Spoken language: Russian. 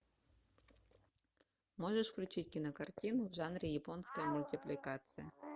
можешь включить кинокартину в жанре японской мультипликации